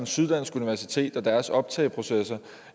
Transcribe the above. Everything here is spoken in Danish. syddansk universitet og deres optagproces